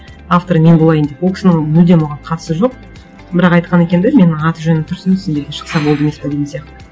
авторы мен болайын деп ол кісінің мүлдем оған қатысы жоқ бірақ айтқан екен де менің аты жөнім тұрсын сендерге шықса болды емес пе деген сияқты